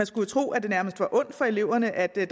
skulle tro at det nærmest er ondt for eleverne at der